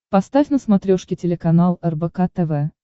поставь на смотрешке телеканал рбк тв